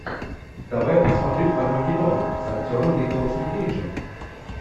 давай я посмотрю армагеддон с актером николасом кейджем